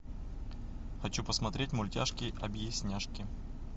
хочу посмотреть мультяшки объясняшки